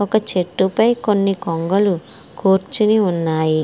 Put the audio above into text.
ఒక చెట్టు పై కొన్ని కొంగలు కూర్చొని ఉన్నాయి.